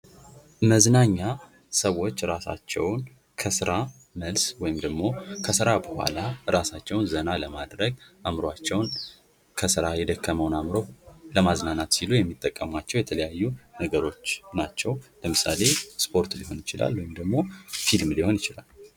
መዝናኛ ሰዎች ራሳቸውን ከስራ መልስ ወይም ደግሞ ከስራ በኋላ ራሳቸውን ዘና ለማድረግ አእምሯቸውን ከስራ የደከመውን አእምሮ ለማዝናናት ሲሉ የሚጠቀሟቸው የተለያዩ ነገሮች ናቸዉ። ለምሳሌ ስፖርት ሊሆን ይችላል ወይም ደግሞ ፊልም ሊሆን ይችላል።